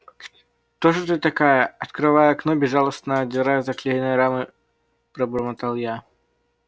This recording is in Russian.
кто же ты такая открывая окно безжалостно отдирая заклеенные рамы пробормотал я